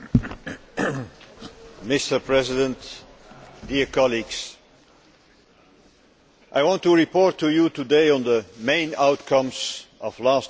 Mr President, dear colleagues, I want to report to you today on the main outcomes of last week's European Council.